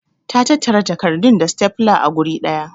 Ta tattara takardun da stapler a guri daya.